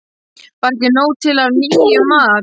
Var ekki nóg til af nýjum mat?